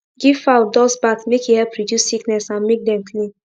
give fowl dust bath make e help reduce sickness and make dem clean